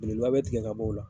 Belebeleba bɛ tigɛ ka bɔ o la.